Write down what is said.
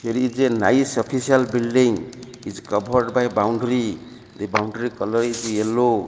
there iz a nice official building is covered by boundary the boundary colour is yellow.